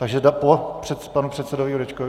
Takže po panu předsedovi Jurečkovi.